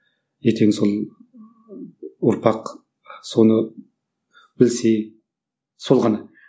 ертең сол ұрпақ соны білсе сол ғана